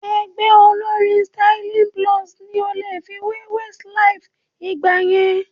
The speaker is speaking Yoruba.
Ẹgbẹ́ olórín Styl-Plus ni a lè fi wé Westlife ìgbà yẹn